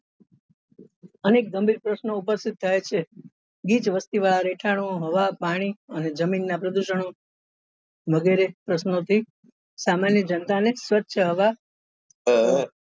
અનેક ગંભીર પ્રશ્નો ઉપસ્થિત થાય છે ગીચ વસ્તી વાળા રહેઠાણો હવા પાણી અને જમીન નાં પ્રદુષણ ઓ વગેરે પ્રશ્નો થી સામાન્ય જનતા ને સ્વચ્છ હવા